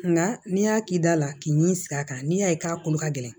Nka n'i y'a k'i da la k'i ɲini sigi a kan n'i y'a ye k'a kolo ka gɛlɛn